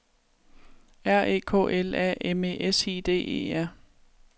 R E K L A M E S I D E R